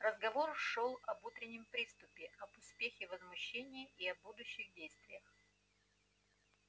разговор шёл об утреннем приступе об успехе возмущения и о будущих действиях